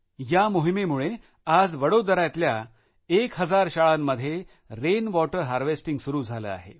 या मोहिमेमुळे आज वडोदऱ्यातल्या एक हजार शाळांमध्ये रेन वाटर हार्वेस्टिंग सूरू झाले आहे